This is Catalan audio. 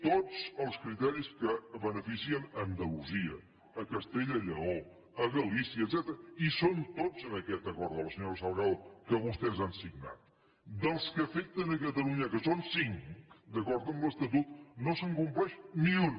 tots els criteris que beneficien andalusia castella i lleó galícia etcètera hi són tots en aquest acord de la senyora salgado que vostès han signat dels que afecten catalunya que són cinc d’acord amb l’estatut no se’n compleix ni un